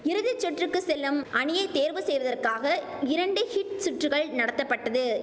இறுதிச்சுற்றுக்கு செல்லும் அணியை தேர்வு செய்வதற்காக இரண்டு ஹீட் சுற்றுகள் நடத்தப்பட்டது